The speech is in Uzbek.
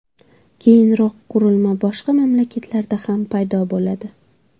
Keyinroq qurilma boshqa mamlakatlarda ham paydo bo‘ladi.